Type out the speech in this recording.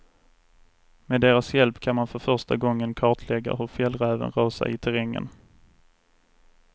Med deras hjälp kan man för första gången kartlägga hur fjällräven rör sig i terrängen.